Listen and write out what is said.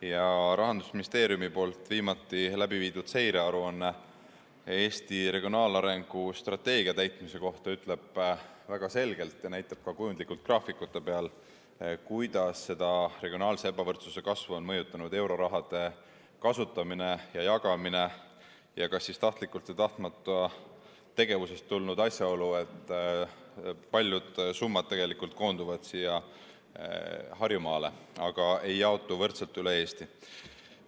Ja Rahandusministeeriumi tehtud viimatine seirearuanne Eesti regionaalarengu strateegia täitmise kohta ütleb väga selgelt ja näitab ka kujundlikult graafikute peal, kuidas regionaalse ebavõrdsuse kasvu on mõjutanud euroraha kasutamine ja jagamine ning kas tahtlikust või tahtmatust tegevusest tulnud asjaolu, et paljud summad koonduvad tegelikult Harjumaale, mitte ei jaotu võrdselt üle Eesti.